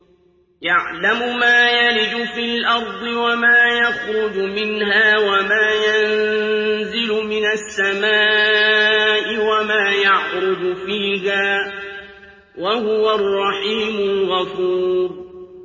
يَعْلَمُ مَا يَلِجُ فِي الْأَرْضِ وَمَا يَخْرُجُ مِنْهَا وَمَا يَنزِلُ مِنَ السَّمَاءِ وَمَا يَعْرُجُ فِيهَا ۚ وَهُوَ الرَّحِيمُ الْغَفُورُ